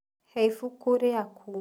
Hee ibuku rĩaku